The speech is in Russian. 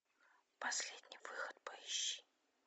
последний выход поищи